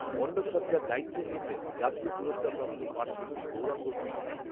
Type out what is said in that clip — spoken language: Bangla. মণ্ডপসজ্জার দায়িত্ব নিয়েছেন জাতীয় পুরস্কারপ্রাপ্ত পাটশিল্পী গৌরাঙ্গ কুইল্যা